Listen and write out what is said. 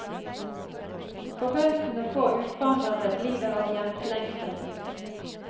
Forbausende få utvandrere lider av hjemslengsel.